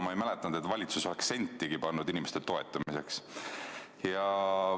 Ma ei mäleta, et valitsus oleks toona sentigi pannud inimeste toetamiseks.